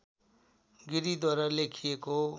गिरिद्वारा लेखिएको